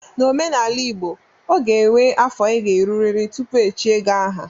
N'omenala igbo, o ga enwe afọ ị ga-erurịrị tupu e echie gị aha